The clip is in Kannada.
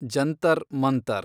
ಜಂತರ್ ಮಂತರ್